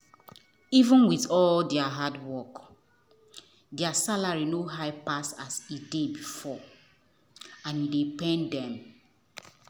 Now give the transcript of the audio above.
even with all their hard work their salary no high pass as e dey before and e dey pain dem.